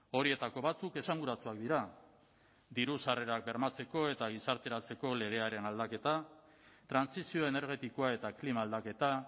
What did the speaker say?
horietako batzuk esanguratsuak dira diru sarrerak bermatzeko eta gizarteratzeko legearen aldaketa trantsizio energetikoa eta klima aldaketa